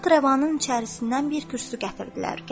Taxt-rəvanın içərisindən bir kürsü gətirdilər.